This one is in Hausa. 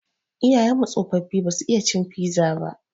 Iyayen mu tsofaffi ba su iya cin fiza ba.